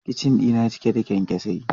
Kicin dina cike da kyankyasai.